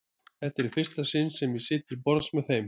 Þetta er í fyrsta sinn sem ég sit til borðs með þeim.